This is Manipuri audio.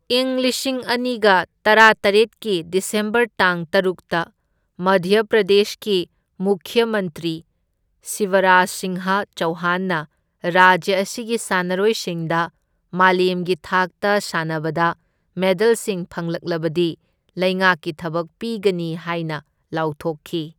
ꯏꯪ ꯂꯤꯁꯤꯡ ꯑꯅꯤꯒ ꯇꯔꯥꯇꯔꯦꯠꯀꯤ ꯗꯤꯁꯦꯝꯕꯔ ꯇꯥꯡ ꯇꯔꯨꯛꯇ ꯃꯙ꯭ꯌ ꯄ꯭ꯔꯗꯦꯁꯀꯤ ꯃꯨꯈ꯭ꯌ ꯃꯟꯇ꯭ꯔꯤ ꯁꯤꯕꯔꯥꯖ ꯁꯤꯡꯍ ꯆꯧꯍꯥꯟꯅ ꯔꯥꯖ꯭ꯌ ꯑꯁꯤꯒꯤ ꯁꯥꯟꯅꯔꯣꯏꯁꯤꯡꯗ ꯃꯥꯂꯦꯝꯒꯤ ꯊꯥꯛꯇ ꯁꯥꯟꯅꯕꯗ ꯃꯦꯗꯜꯁꯤꯡ ꯐꯪꯂꯛꯂꯕꯗꯤ ꯂꯩꯉꯥꯛꯀꯤ ꯊꯕꯛ ꯄꯤꯒꯅꯤ ꯍꯥꯏꯅ ꯂꯥꯎꯊꯣꯛꯈꯤ꯫